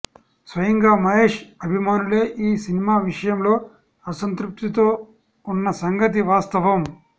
స్వయంగా మహేష్ అభిమానులే ఈ సినిమా విషయంలో అసంతృప్తితో ఉన్న సంగతి వాస్తవం